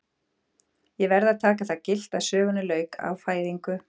Ég verð að taka það gilt að sögunni lauk á fæðingu